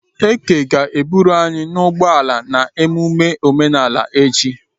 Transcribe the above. Eke ga-eburu anyi n'ụgbọ ala na emume omenala echi.